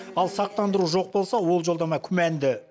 ал сақтандыру жоқ болса ол жолдама күмәнді